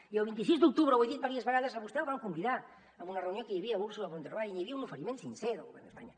i el vint sis d’octubre ho he dit diverses vegades a vostè el van convidar a una reunió que hi havia amb ursula von der leyen i hi havia un oferiment sincer del govern d’espanya